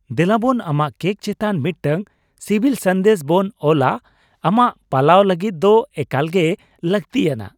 ᱫᱮᱞᱟᱵᱚᱱ ᱟᱢᱟᱜ ᱠᱮᱠ ᱪᱮᱛᱟᱱ ᱢᱤᱫᱴᱟᱝ ᱥᱤᱵᱤᱞ ᱥᱟᱸᱫᱮᱥ ᱵᱚᱱ ᱚᱞᱼᱟ, ᱟᱢᱟᱜ ᱯᱟᱞᱟᱣ ᱞᱟᱹᱜᱤᱫ ᱫᱚ ᱮᱠᱟᱞᱜᱮ ᱞᱟᱹᱠᱛᱤᱭᱟᱱᱟᱜ ᱾